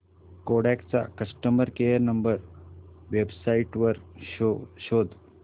Kodak चा customer care number website वर शोध